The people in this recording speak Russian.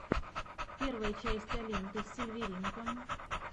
первая часть алинка сильверинка